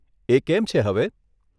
એ કેમ છે હવે?